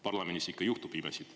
Parlamendis ikka juhtub imesid.